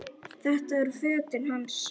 Þetta eru fötin hans!